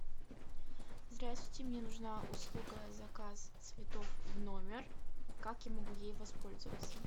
здравствуйте мне нужна услуга заказ цветов в номер как я могу ей воспользоваться